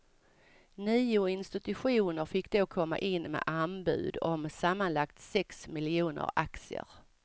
Nio institutioner fick då komma in med anbud på sammanlagt sex miljoner aktier.